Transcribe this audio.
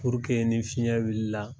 ni fiɲɛ wulila.